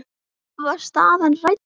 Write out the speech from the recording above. Var staðan rædd?